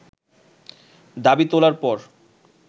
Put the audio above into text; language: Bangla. দাবি তোলার পর